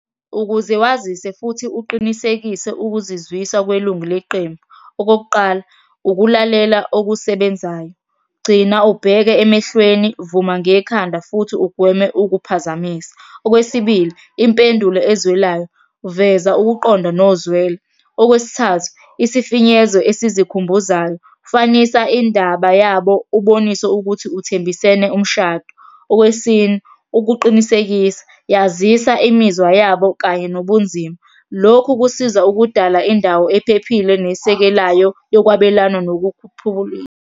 Ukuze wazise futhi uqinisekise ukuzizwisa kwelungu leqembu. Okokuqala, ukulalela okusebenzayo. Gcina ubheke emehlweni, vuma ngekhanda, futhi ugweme ukuphazamisa. Okwesibili, impendulo ezwelayo, veza ukuqonda nozwelo. Okwesithathu, isifinyezo esizikhumbuzayo, fanisa indaba yabo, ubonise ukuthi uthembisene umshado. Okwesine, ukuqinisekisa, yazisa imizwa yabo, kanye nobunzima. Lokhu kusiza ukudala indawo ephephile nesekelayo yokwabelana .